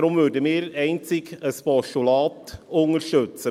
Deshalb würden wir einzig ein Postulat unterstützen.